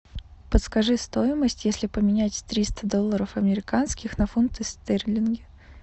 подскажи стоимость если поменять триста долларов американских на фунты стерлинги